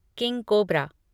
king cobra